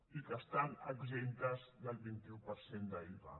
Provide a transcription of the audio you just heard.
i que estan exemptes del veinte un per cent d’iva